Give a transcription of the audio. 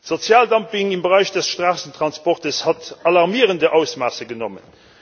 Sozialdumping im Bereich des Straßentransportes hat alarmierende Ausmaße angenommen.